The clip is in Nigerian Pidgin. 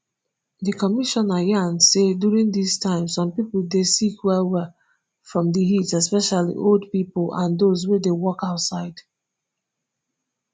di commissioner yan say during dis time some pipo dey sick wellwell from di heat especially old pipo and those wey dey work outside